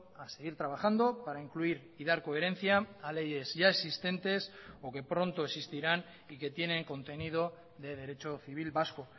a seguir trabajando para incluir y dar coherencia a leyes ya existentes o que pronto existirán y que tienen contenido de derecho civil vasco